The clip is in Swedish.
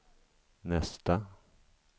nästa